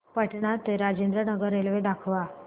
पटणा ते राजेंद्र नगर रेल्वे दाखवा